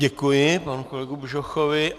Děkuji panu kolegovi Bžochovi.